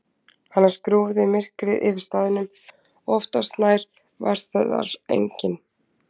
Annars grúfði myrkrið yfir staðnum og oftast nær var þar enginn.